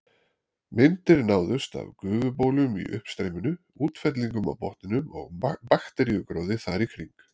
Myndir náðust af gufubólum í uppstreyminu, útfellingum á botninum og bakteríugróðri þar í kring.